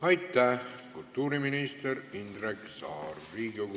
Aitäh, kultuuriminister Indrek Saar!